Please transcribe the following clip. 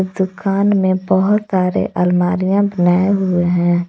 दुकान में बहुत सारे अलमारियां बनाए हुए हैं।